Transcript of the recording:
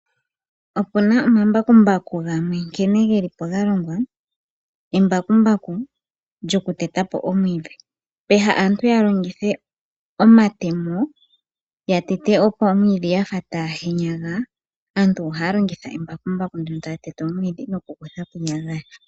Opuna omambakumbaku gamwe nkene geli po galongwa embakumbaku lyoku teta po omwiidhi, peha aantu yalongithe omatemo ya tete po omwiidhi yafa taya henyaga, aantu ohaa longitha embakumbaku ndyono tali tete omwiidhi noku kutha po iiyagayaga.